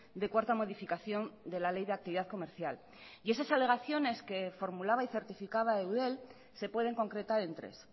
de cuarta modificación de la ley de actividad comercial y esas alegaciones que formulaba y certificaba eudel se pueden concretar en tres